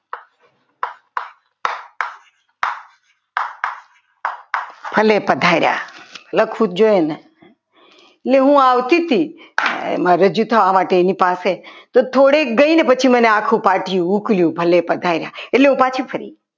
અને પધાર્યા ભલે પધાર્યા લખવું જોઈએ તો હું આવતી હતી રજૂ થવા માટે એની પાસે તો થોડે ગઈને પછી મને આખું પાટિયું ઉકલયુ ભલે પધાર્યા.